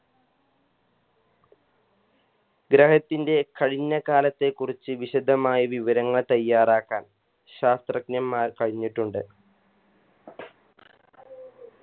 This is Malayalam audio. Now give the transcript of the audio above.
ഗ്രഹത്തിൻറെ കഴിഞ്ഞ കാലത്തേ കുറിച്ച് വിശദമായി വിവരങ്ങൾ തയ്യാറാക്കാൻ ശാസ്ത്രജ്ഞൻമാർ കഴിഞ്ഞിട്ടുണ്ട്